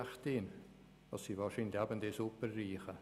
– Das sind wahrscheinlich eben die Superreichen.